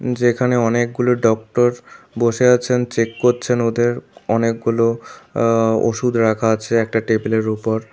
যেখানে অনেকগুলো ডক্টর বসে আছেন চেক করছেন ওদের অনেকগুলো আ ওষুধ রাখা আছে একটা টেবিলের উপর।